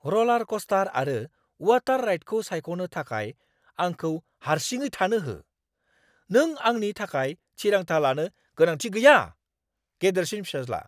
रलारकस्टार आरो वाटार राइडखौ सायख'नो थाखाय आंखौ हारसिङै थानो हो, नों आंनि थाखाय थिरांथा लानो गोनांथि गैया! (गेदेरसिन फिसाज्ला)